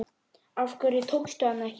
Af hverju tókstu hana ekki?